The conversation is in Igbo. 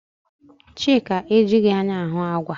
Chika ejighi anya ahụ àgwà.